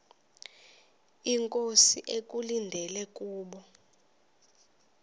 inkosi ekulindele kubo